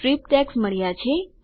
strip tags મળ્યા છે